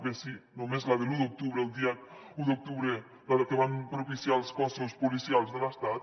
bé sí només la de l’u d’octubre el dia un d’octubre la que van propiciar els cossos policials de l’estat